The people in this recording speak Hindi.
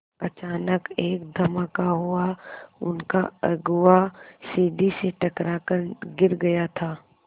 अचानक एक धमाका हुआ उनका अगुआ सीढ़ी से टकरा कर गिर गया था